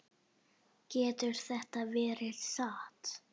Getur þetta verið satt?